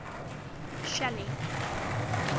shelly